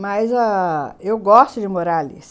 Mas ah... eu gosto de morar ali.